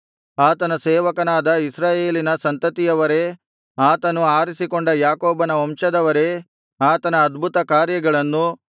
ಆತನ ಸೇವಕನಾದ ಇಸ್ರಾಯೇಲಿನ ಸಂತತಿಯವರೇ ಆತನು ಆರಿಸಿಕೊಂಡ ಯಾಕೋಬನ ವಂಶದವರೇ ಆತನ ಅದ್ಭುತ ಕಾರ್ಯಗಳನ್ನು